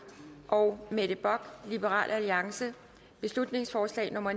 og mette bock beslutningsforslag nummer